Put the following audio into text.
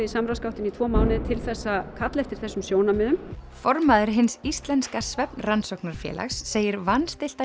í samráðsgáttinni í tvo mánuði til að kalla eftir þessum sjónarmiðum formaður Hins íslenska segir